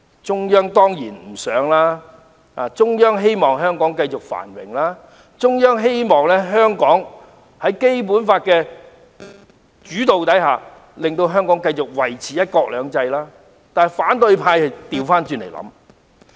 中央當然不希望如此，它希望香港可以繼續繁榮，在《基本法》的主導下繼續維持"一國兩制"，但反對派的想法卻相反。